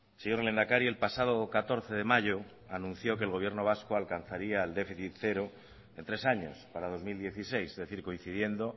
señor lehendakari el pasado catorce de mayo anunció que el gobierno vasco alcanzaría el déficit cero en tres años para dos mil dieciséis es decir coincidiendo